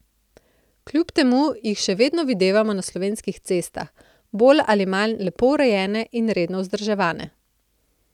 Kljub temu jih še vedno videvamo na slovenskih cestah, bolj ali manj lepo urejene in redno vzdrževane.